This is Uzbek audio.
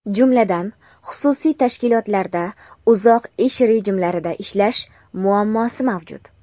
jumladan xususiy tashkilotlarda uzoq ish rejimlarida ishlash muammosi mavjud.